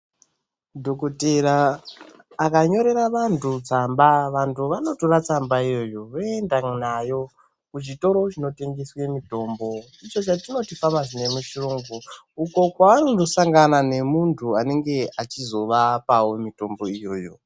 Dhokotera akanyorera vantu tsamba, vantu vanotora tsamba iyoyo voenda nayo kuchitoro chinotengese mitombo ichochatinoti famasi nemuchirungu, uko kwavanondo sangana nemuntu anenge achizovapavo mitombo iyoyo.